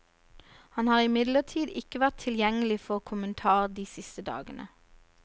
Han har imidlertid ikke vært tilgjengelig for kommentar de siste dagene.